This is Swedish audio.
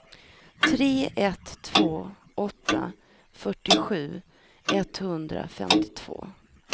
tre ett två åtta fyrtiosju etthundrafemtiotvå